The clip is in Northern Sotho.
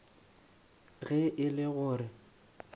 ge e le go re